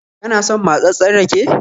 Kana son matsatssen rake?